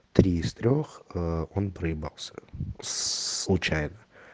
три из трёх ээ он проебался случайно